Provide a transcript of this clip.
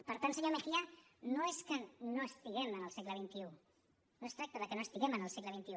per tant senyor mejía no és que no estiguem en el segle xxi no es tracta de que no estiguem en el segle xxi